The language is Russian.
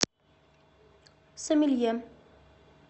сомелье